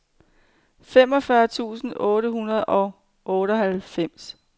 femogfyrre tusind otte hundrede og otteoghalvfems